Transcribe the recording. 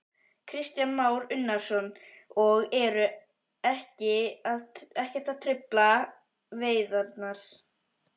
Kristján Már Unnarsson: Og eru ekkert að trufla veiðarnar?